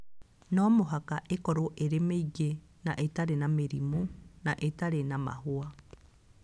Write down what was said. No mũhaka ĩkorũo ĩrĩ mĩigũ na ĩtarĩ na mĩrimũ na ĩtarĩ na mahũa.